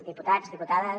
diputats diputades